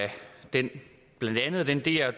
ikke